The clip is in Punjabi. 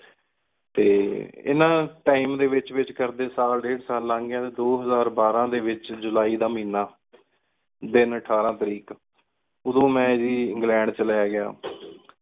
ਟੀ ਇੰਨਾ Time ਡੀ ਵਿਚ ਵਿਚ ਕਰਦੇ ਸਾਲ ਡੇਢ਼ ਸਾਲ ਲੰਗ ਗਯਾ ਦੋ ਹਜ਼ਾਰ ਬਾਰਾ ਡੀ ਵਿਚ ਜੁਲਾਈ ਦਾ ਮਹੀਨਾ ਦਿਨ ਅਠਾਰਾਂ ਤਾਰੀਖ ਓਹ੍ਦੁ ਮੇਨ ਗ ਇੰਗ੍ਲੈੰਡ ਚਲਾ ਗਯਾ